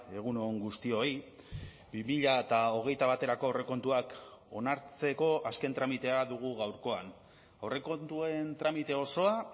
egun on guztioi bi mila hogeita baterako aurrekontuak onartzeko azken tramitea dugu gaurkoan aurrekontuen tramite osoa